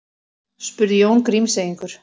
spurði Jón Grímseyingur.